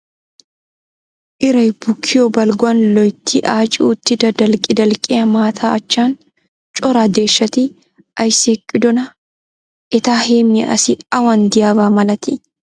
Irayi bukkiyo balgguwan loyitti aaci uttida dalqqi dalqqiya maata achchan cora deeshshati ayissi eqqidonaa? Eta heemmiya asi awan diyaaba malatii?